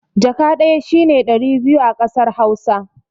Jaka ɗaya shine ɗari biyu a kasar hausa